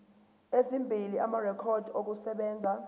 ezimbili amarekhodi okusebenza